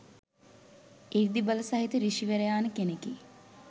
සෘද්ධිබල සහිත සෘෂිවරයාණ කෙනෙකි.